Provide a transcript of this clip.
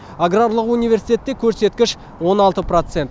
аграрлық университетте көрсеткіш он алты процент